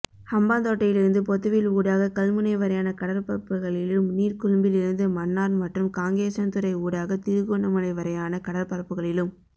ஹம்பாந்தோட்டையிலிருந்து பொத்துவில் ஊடாக கல்முனை வரையான கடற்பரப்புகளிலும் நீர்கொழும்பிலிருந்து மன்னார் மற்றும் காங்கேசன்துறை ஊடாக திருகோணமலை வரையான கடற்பரப்புகளிலும்